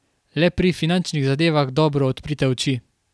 Le pri finančnih zadevah dobro odprite oči.